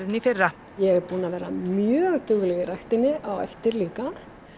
í fyrra ég er búin að vera mjög dugleg í ræktinni á eftir líka